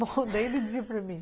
Daí ele dizia para mim.